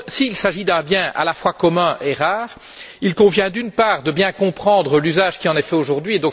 S'il s'agit d'un bien à la fois commun et rare, il convient, d'une part, de bien comprendre l'usage qui en est fait aujourd'hui.